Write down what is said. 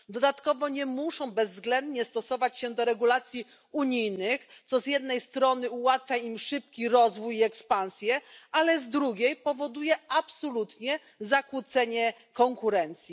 Dodatkowo nie muszą bezwzględnie stosować się do regulacji unijnych, co z jednej strony ułatwia im szybki rozwój i ekspansję, ale z drugiej powoduje absolutnie zakłócenie konkurencji.